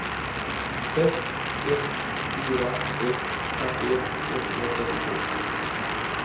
sex ett fyra ett femtioett etthundratrettiotvå